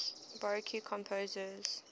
baroque composers